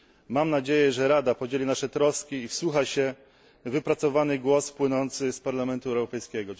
Mam nadzieję, że Rada podzieli nasze troski i wsłucha się w wypracowany głos płynący z Parlamentu Europejskiego.